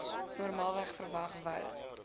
normaalweg verwag wou